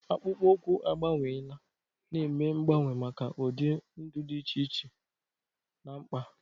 Akpụkpọ ụkwụ agbanweela, na-eme mgbanwe maka ụdị ndụ dị iche iche na mkpa.